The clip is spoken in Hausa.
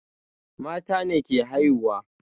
Mata ne ke haihuwa